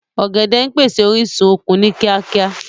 Ọ̀gẹ̀dẹ̀ ń pèsè orísun okun ni kíákíá